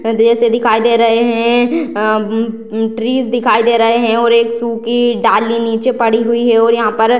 इतने देर से दिखाई दे रहे हैं | उम् उम् ट्रीज दिखाई दे रहे हैं और एक सुखी डाली नीचे पड़ी हुई है और यहाँ पर --